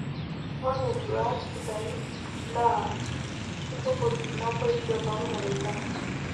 Ore nduat sidai naa keitukuj naboisho toolmareita.